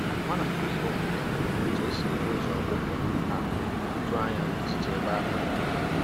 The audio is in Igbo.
Ọ na-akuziri ụmụaka otu esi eji ụzọ ụkwụ ha tụọ anya n’etiti ebe a kụrụ ihe.